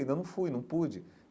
Ainda não fui, não pude.